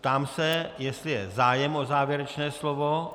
Ptám se, jestli je zájem o závěrečné slovo.